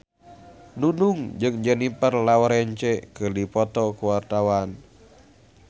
Nunung jeung Jennifer Lawrence keur dipoto ku wartawan